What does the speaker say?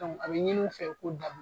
a bɛ ɲin'u fɛ u k'o dabil